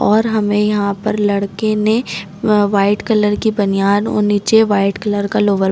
और हमे यहाँ पर लड़के ने म वाइट कलर की बनियान और नीचे वाइट कलर का लोअर --